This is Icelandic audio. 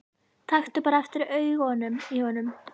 Taktu bara eftir augunum í honum.